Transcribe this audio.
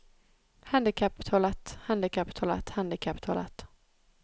handicaptoalett handicaptoalett handicaptoalett